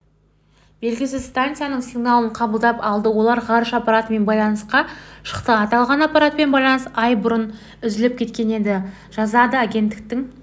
белгісіз станцияның сигналын қабылдап алды олар ғарыш аппаратымен байланысқа шықты аталған аппаратпен байланыс ай бұрын үзіліп кеткен еді деп жазады агенттіктің